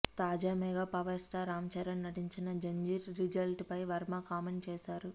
తాజా mega power star Ram Charan నటించిన Zanjeer result పై వర్మ కామెంట్ చేశాడు